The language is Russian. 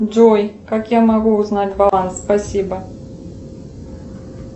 джой как я могу узнать баланс спасибо